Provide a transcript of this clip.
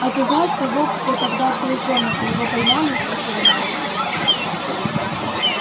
а ты знаешь того кто тогда открыл комнату его поймали спросил он малфоя